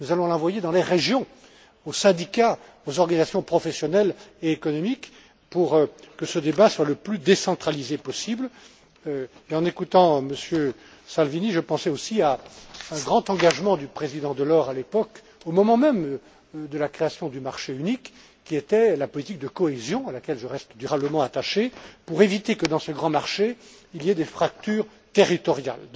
Nous allons l'envoyer dans les régions, aux syndicats, aux organisations professionnelles et économiques, pour que ce débat soit le plus décentralisé possible. En écoutant M. Salvini, je pensais aussi à un grand engagement du président Delors à l'époque, au moment même de la création du marché unique, qui était la politique de cohésion, à laquelle je reste durablement attaché, pour éviter que, dans ce grand marché, il y ait des fractures territoriales.